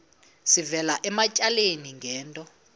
sivela ematyaleni ngento